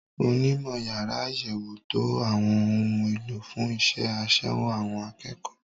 Onímọ̀ yàrá àyẹ̀wò ń to àwọn ohun èlò fún iṣẹ́ àṣewò àwọn akẹ́kọ̀ọ́.